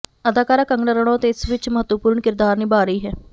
ਅਦਾਕਾਰਾ ਕੰਗਨਾ ਰਣੌਤ ਇਸ ਵਿਚ ਮਹੱਤਵਪੂਰਨ ਕਿਰਦਾਰ ਨਿਭਾ ਰਹੀ ਹੈ